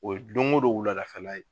O ye don o don wulada fɛ la ye.